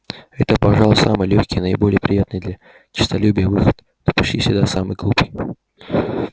это пожалуй самый лёгкий и наиболее приятный для честолюбия выход но почти всегда самый глупый